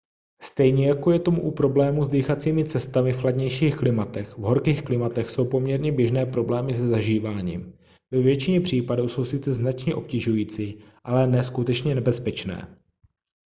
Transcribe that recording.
stejně jako je tomu u problémů s dýchacími cestami v chladnějších klimatech v horkých klimatech jsou poměrně běžné problémy se zažíváním ve většině případů jsou sice značně obtěžující ale ne skutečně nebezpečné